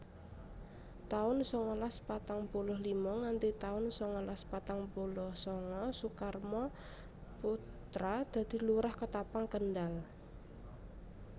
taun sangalas patang puluh lima nganthi taun sangalas patang puluh sanga Sukarmo Putra dadi Lurah Ketapang Kendal